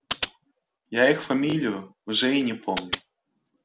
я их фамилию уже и не помню